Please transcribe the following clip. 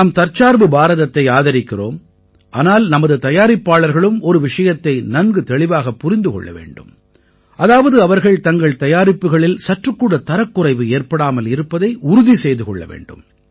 நாம் தற்சார்பு பாரதத்தை ஆதரிக்கிறோம் ஆனால் நமது தயாரிப்பாளர்களும் ஒரு விஷயத்தை நன்கு தெளிவாகப் புரிந்து கொள்ள வேண்டும் அதாவது அவர்கள் தங்கள் தயாரிப்புகளில் சற்றுக்கூட தரக்குறைவு ஏற்படாமல் இருப்பதை உறுதி செய்து கொள்ள வேண்டும்